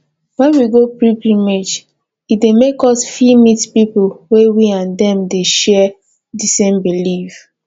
when we go pilgrimage e dey make us fit meet pipo wey we and dem dey share di same belief